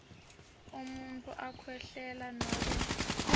umuntfu akhwehlela nobe